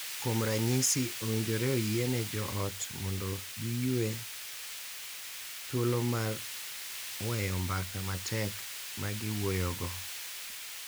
Kuom ranyisi, owinjore oyiene jo ot mondo giyue thuolo mar weyo mbaka matek ma giwuoyogo .